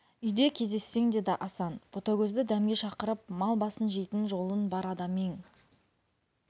үйде кездессең деді асан ботагөзді дәмге шақырып мал басын жейтін жолын бар адам ең